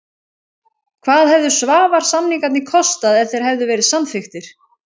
Hvað hefðu Svavars-samningarnir kostað ef þeir hefðu verið samþykktir?